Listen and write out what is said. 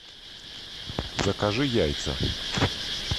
закажи яйца